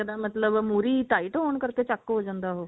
ਮਤਲਬ ਮੁਹਰੀ tight ਹੋਣ ਕਰਕੇ ਚੱਕ ਹੋ ਜਾਂਦਾ ਉਹ